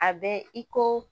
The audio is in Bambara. A bɛ i ko